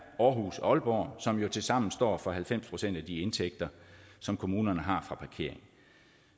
aarhus aalborg som jo tilsammen står for halvfems procent af de indtægter som kommunerne har fra parkering